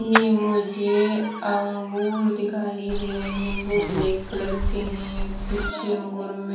ये मुझे अंगूर दिखाई दे रहे वो ब्लैक कलर के हैं कुछ अंगुर मे--